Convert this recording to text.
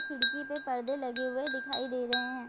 खिड़की पे परदे लगे हुए दिखाई दे रहें हैं।